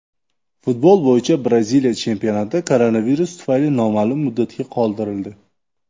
Futbol bo‘yicha Braziliya chempionati koronavirus tufayli noma’lum muddatga qoldirildi.